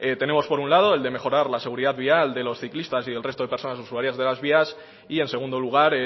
tenemos por un lado el de mejorar la seguridad vial de los ciclistas y del resto de personas usuarias de las vías y en segundo lugar